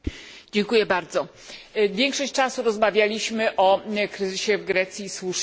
Większość czasu rozmawialiśmy o kryzysie w Grecji i słusznie, bo to jest ogromny problem.